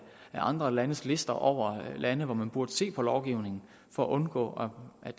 andre landes lister over lande hvor man burde se på lovgivningen for at undgå at